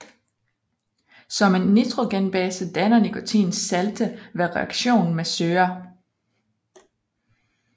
Som en nitrogenbase danner nikotin salte ved reaktion med syrer